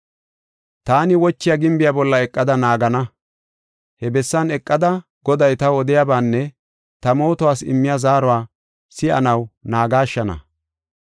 Taani wochiya gimbiya bolla eqada naagana. He bessan eqada Goday taw odiyabaanne ta mootuwas immiya zaaruwa si7anaw naagashshana.